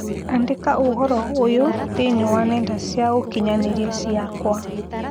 Andĩka ũhoro ũyũ thĩinĩ wa nenda cia ũkĩnyaniria ciakwa